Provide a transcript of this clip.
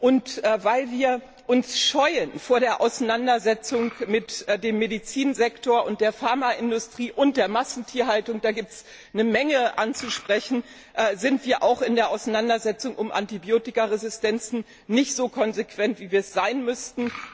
Doch weil wir uns vor der Auseinandersetzung mit dem Medizinsektor und der Pharmaindustrie und der Massentierhaltung scheuen da gibt es eine Menge anzusprechen sind wir auch in der Auseinandersetzung um Antibiotikaresistenzen nicht so konsequent, wie wir sein müssten.